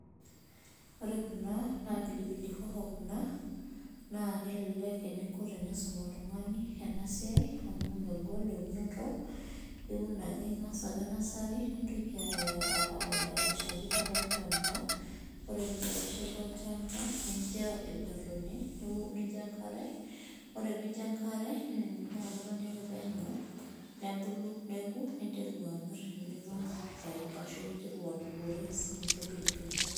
ore kuna naa pilipili hoho naa kelelek tenisum oltunkani amuu iiun ake nursury nindapashaki olchamba nincho enkare niyanyu metubulu ampaka nikes